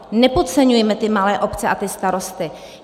Nepodceňujme ty malé obce a ty starosty.